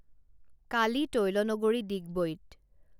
কালি তৈলনগৰী ডিগবৈত